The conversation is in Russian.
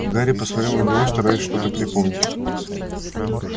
гарри посмотрел на него стараясь что-то припомнить